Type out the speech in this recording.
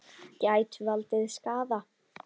Gætu valdið skaða.